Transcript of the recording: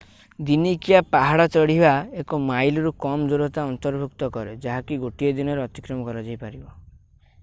ଦିନିକିଆ ପାହାଡ଼ ଚଢ଼ିବା ଏକ ମାଇଲରୁ କମ୍ ଦୂରତା ଅନ୍ତର୍ଭୁକ୍ତ କରେ ଯାହାକି ଗୋଟିଏ ଦିନରେ ଅତିକ୍ରମ କରାଯାଇପାରିବ